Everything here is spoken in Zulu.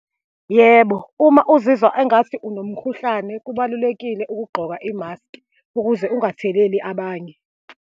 Yebo, uma uzizwa engathi unomkhuhlane, kubalulekile ukugqoka imaski ukuze ungatheleli abanye.